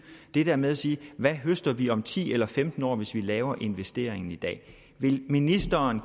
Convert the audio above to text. det der med at sige hvad høster vi om ti eller femten år hvis vi laver investeringen i dag vil ministeren